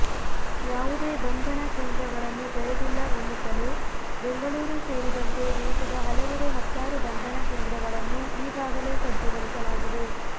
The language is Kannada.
ಯಾವುದೇ ಬಂಧನ ಕೇಂದ್ರಗಳನ್ನು ತೆರೆದಿಲ್ಲ ಎನ್ನುತ್ತಲೇ ಬೆಂಗಳೂರು ಸೇರಿದಂತೆ ದೇಶದ ಹಲವೆಡೆ ಹತ್ತಾರು ಬಂಧನ ಕೇಂದ್ರಗಳನ್ನು ಈಗಾಗಲೇ ಸಜ್ಜುಗೊಳಿಸಲಾಗಿದೆ